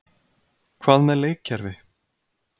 Hvað með leikkerfi?